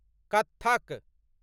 Kathak